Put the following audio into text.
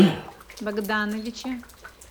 богдановиче